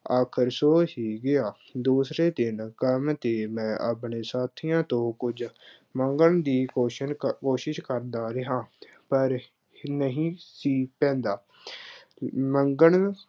ਆਖਰ ਸੌ ਹੀ ਗਿਆ। ਦੂਸਰੇ ਦਿਨ ਕਰਮ ਅਤੇ ਮੈਂ ਆਪਣੇ ਸਾਥੀਆਂ ਤੋਂ ਕੁੱਝ ਮੰਗਣ ਦੀ ਕੋਸ਼ਣ ਕੋਸ਼ਿਸ਼ ਕਰਦਾ ਰਿਹਾ। ਪਰ ਨਹੀਂ ਸੀ ਕਹਿੰਦਾ। ਮੰਗਣ